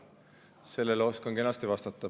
Sellele oskan kenasti vastata.